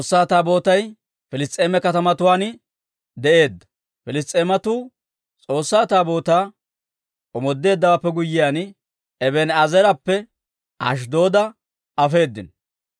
Piliss's'eematuu S'oossaa Taabootaa omoodeeddawaappe guyyiyaan, Eben"eezeerappe Ashddooda afeedino.